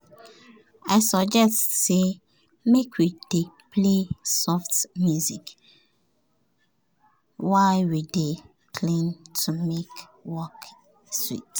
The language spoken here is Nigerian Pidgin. i suggest say make we dey play soft music while we dey clean to make the work sweet.